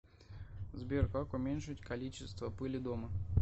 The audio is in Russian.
сбер как уменьшить количество пыли дома